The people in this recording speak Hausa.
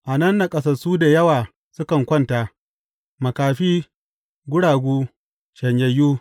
A nan naƙasassu da yawa sukan kwanta, makafi, guragu, shanyayyu.